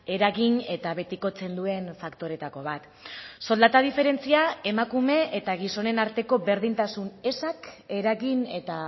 eragin eta betikotzen duen faktoretako bat soldata diferentzia emakume eta gizonen arteko berdintasun ezak eragin eta